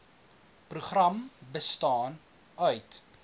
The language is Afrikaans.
program bestaan uit